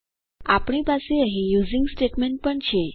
આપણી પાસે અહીં યુઝિંગ સ્ટેટમેન્ટ પણ છે